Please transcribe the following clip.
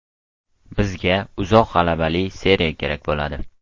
Bizga uzoq g‘alabali seriya kerak bo‘ladi.